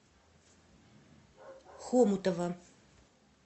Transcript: хомутова